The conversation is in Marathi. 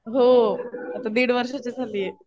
हो. आता दिड वर्षाची झालीय.